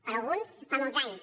per a alguns fa molts anys